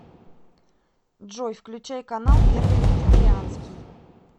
джой включай канал первый вегетарианский